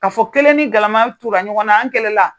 K'a fɔ kelen ni galama tunna ɲɔgɔn na an kɛlɛ la